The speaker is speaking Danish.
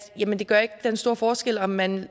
gør den store forskel at man